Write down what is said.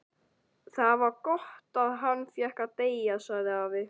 Það var gott að hann fékk að deyja sagði afi.